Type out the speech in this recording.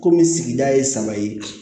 Komi sigida ye saba ye